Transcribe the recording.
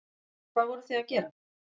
Gunnar: Hvað voruð þið að gera?